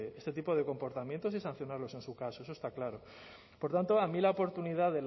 este tipo de comportamientos y sancionarlo en su caso eso está claro por tanto a mí la oportunidad